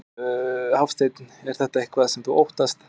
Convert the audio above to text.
Hafsteinn: Er þetta eitthvað sem þú óttast?